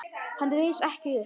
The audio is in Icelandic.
Hann reis ekki upp.